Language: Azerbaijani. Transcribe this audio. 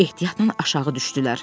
Ehtiyatla aşağı düşdülər.